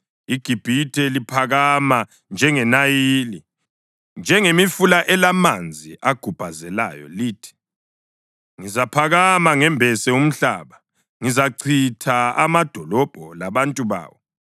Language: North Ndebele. IGibhithe liphakama njengeNayili, njengemifula elamanzi agubhazelayo. Lithi: ‘Ngizaphakama ngembese umhlaba; ngizachitha amadolobho labantu bawo.’